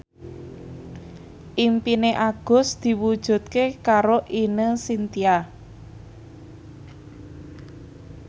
impine Agus diwujudke karo Ine Shintya